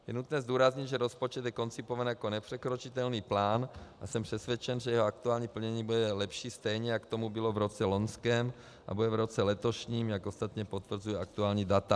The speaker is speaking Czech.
Je nutné zdůraznit, že rozpočet je koncipován jako nepřekročitelný plán, a jsem přesvědčen, že jeho aktuální plnění bude lepší, stejně jako tomu bylo v roce loňském a bude v roce letošním, jak ostatně potvrzují aktuální data.